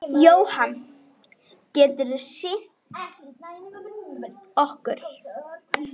Jóhann: Getur þú sýnt okkur?